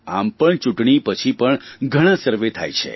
આમ પણ ચૂંટણી પછી પણ ઘણા સર્વે થાય છે